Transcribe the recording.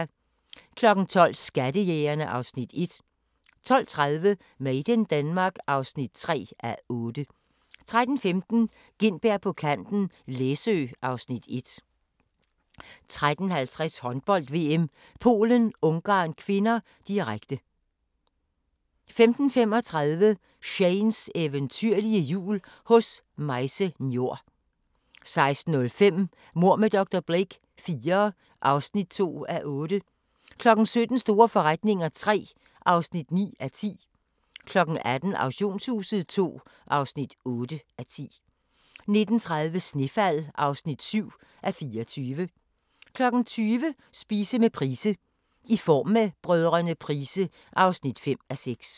12:00: Skattejægerne (Afs. 1) 12:30: Made in Denmark (3:8) 13:15: Gintberg på kanten - Læsø (Afs. 1) 13:50: Håndbold: VM - Polen-Ungarn (k), direkte 15:35: Shanes eventyrlige jul hos Maise Njor 16:05: Mord med dr. Blake IV (2:8) 17:00: Store forretninger III (9:10) 18:00: Auktionshuset II (8:10) 19:30: Snefald (7:24) 20:00: Spise med Price: "I Form med Brdr. Price" (5:6)